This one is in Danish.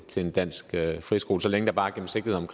til en dansk friskole så længe der bare